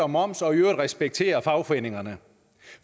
og moms og i øvrigt respektere fagforeningerne